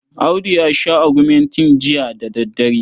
Audu ya sha agumentin jiya da daddare.